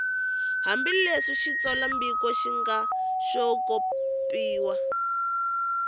hambileswi xitsalwambiko xi nga xopaxopiwa